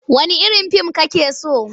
Wanne irin fim kake so?